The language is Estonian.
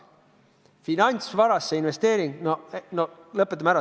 Finantsvarasse investeering – no lõpetame ära.